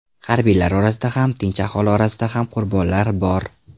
Harbiylar orasida ham, tinch aholi orasida ham qurbonlar bor.